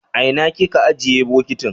aina kika ajiye bokitin?